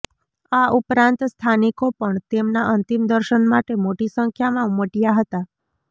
આ ઉપરાંત સ્થાનિકો પણ તેમના અંતિમ દર્શન માટે મોટી સંખ્યામાં ઉમટ્યા હતા